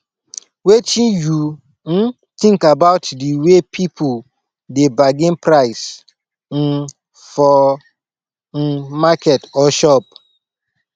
wetin you um think about di way people dey bargain price um for um market or shop